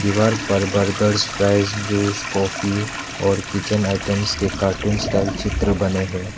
दीवार पर burgers fries juice coffee और किचन आइटम्स के कार्टून स्टाइल्स चित्र बने हैं।